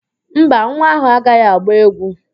Mba, nwa áhụ̀ agaghị agba égwú